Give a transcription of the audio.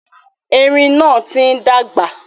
Erin náà ti ń dàgbà.